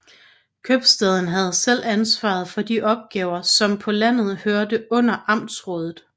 Købstaden havde selv ansvaret for de opgaver som på landet hørte under amtsrådet